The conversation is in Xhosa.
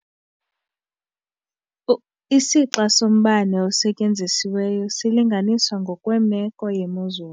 Isixa sombane osetyenzisiweyo silinganiswa ngokwemeko yemozulu.